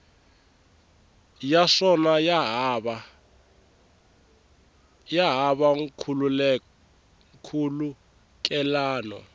ya swona ya hava nkhulukelano